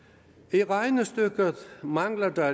i regnestykket mangler der